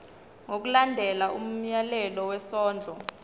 ngokulandela umyalelo wesondlo